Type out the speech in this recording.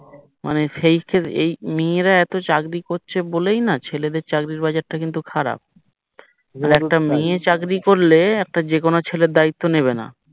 মানে সেইযে মেয়েরা এতো চাকরি করছে বলেই না ছেলেদের চাকরির বাজার তা কিন্তু খারাপ আর একটা মেয়ে চাকরি করলে যেকোনো ছেলের দায়িত্ব নেবেনা